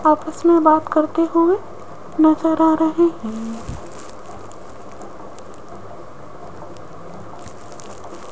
आपस में बात करते हुए नजर आ रहे हैं।